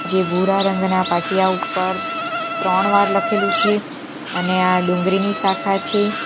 જે ભૂરા રંગના પાટિયા ઉપર ત્રણ વાર લખેલું છે અને આ ડુંગરીની શાખા છે.